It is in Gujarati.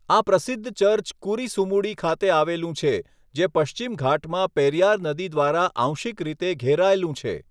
આ પ્રસિદ્ધ ચર્ચ કુરિસુમુડી ખાતે આવેલું છે, જે પશ્ચિમ ઘાટમાં પેરિયાર નદી દ્વારા આંશિક રીતે ઘેરાયેલું છે.